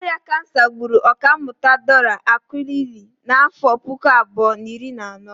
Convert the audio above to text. Ọrịa kansa gburu Ọkammụta Dora Akunyili n'afọ puku abụọ na iri na anọ.